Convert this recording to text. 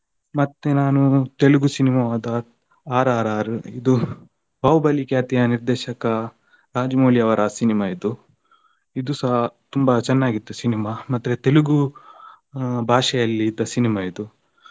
ಮತ್ತೆ ನಾನು ತೆಲುಗು cinema ದ RRR ಇದು Bahubali ಖ್ಯಾತಿಯ ನಿರ್ದೇಶಕ ರಾಜಮೌಳಿ ಅವ್ರ cinema ಇದು. ಇದು ಸಹ ತುಂಬಾ ಚೆನ್ನಾಗಿತ್ತು cinema ಮಾತ್ರ ಆ ತೆಲುಗು ಭಾಷೆಯಲ್ಲಿ ಇದ್ದ ಸಿನಿಮ ಇದು.